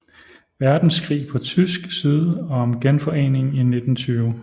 Verdenskrig på tysk side og om Genforeningen i 1920